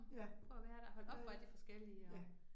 Ja, det, ja